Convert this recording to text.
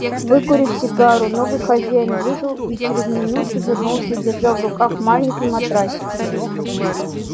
выкурив сигару новый хозяин вышел и через минуту вернулся держа в руках маленький матрасик